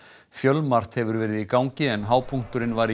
fjölmargt hefur verið í gangi en hápunkturinn var í